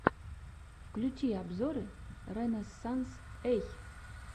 включи обзоры рэнэзсанс эй